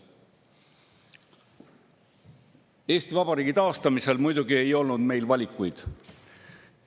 Eesti Vabariigi taastamisel ei olnud meil muidugi valikuid.